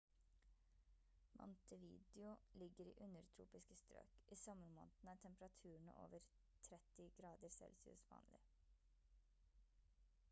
montevideo ligger i undertropiske strøk; i sommermånedene er temperaturene over +30°c vanlig